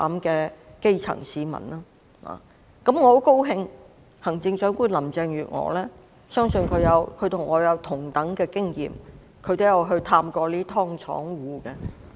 我相信行政長官林鄭月娥與我有類似經驗，亦曾探訪這些"劏房戶"。